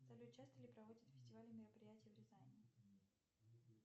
салют часто ли проводят фестивали и мероприятия в рязани